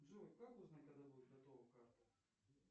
джой как узнать когда будет готова карта